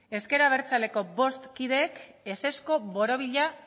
ezker abertzaleko bost kideek ezezko borobila